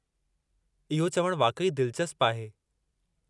इहो चवणु वाक़ई दिलचस्पु आहे।